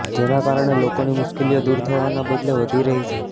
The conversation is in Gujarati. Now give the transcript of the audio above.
જેના કારણે લોકોની મુશ્કેલીઓ દુર થવાના બદલે વધી રહી છે